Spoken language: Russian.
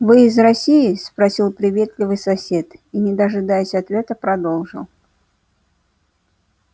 вы из россии спросил приветливый сосед и не дожидаясь ответа продолжал